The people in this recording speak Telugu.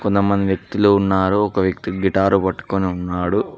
మంది వ్యక్తులు ఉన్నారు ఒక వ్యక్తి గిటారు పట్టుకుని ఉన్నాడు.